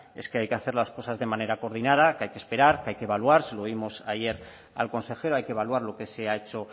es que hay que hacer las cosas de manera coordinada que hay que esperar que hay que evaluar se lo oímos ayer al consejero hay que evaluar lo que se ha hecho